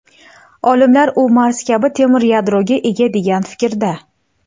Olimlar u Mars kabi temir yadroga ega degan fikrda.